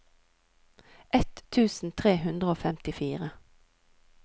ett tusen tre hundre og femtifire